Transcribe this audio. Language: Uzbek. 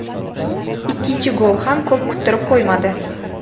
Ikkinchi gol ham ko‘p kuttirib qo‘ymadi.